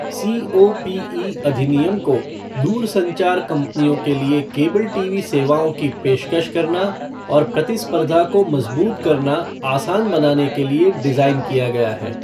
COPE अधिनियम को दूरसंचार कंपनियों के लिए केबल टीवी सेवाओं की पेशकश करना और प्रतिस्पर्धा को मजबूत करना आसान बनाने के लिए डिज़ाइन किया गया है।